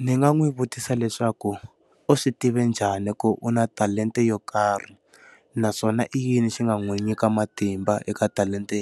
Ndzi nga n'wi vutisa leswaku u swi tive njhani ku u na talenta yo karhi? Naswona i yini xi nga n'wi nyika matimba eka talenta